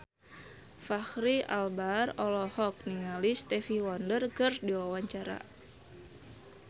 Fachri Albar olohok ningali Stevie Wonder keur diwawancara